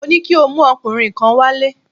Mo ní kí o mú ọkùnrin kan wálé!